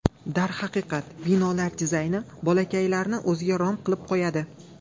Darhaqiqat, binolar dizayni bolakaylarni o‘ziga rom qilib qo‘yadi.